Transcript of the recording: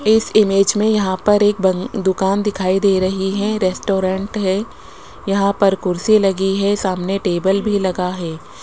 इस इमेज में यहां पर एक बंग दुकान दिखाई दे रही है रेस्टोरेंट है यहां पर कुर्सी लगी है सामने टेबल भी लगा है।